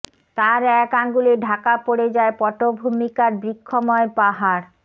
তার এক আঙুলে ঢাকা পড়ে যায় পটভূমিকার বৃক্ষময় পাহাড়